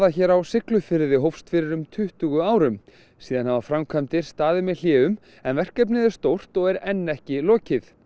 hér á Siglufirði hófst fyrir um tuttugu árum síðan hafa framkvæmdir staðið með hléum en verkefnið er stórt og er enn ekki lokið